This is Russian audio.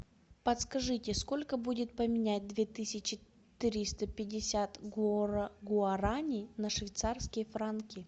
подскажите сколько будет поменять две тысячи триста пятьдесят гуарани на швейцарские франки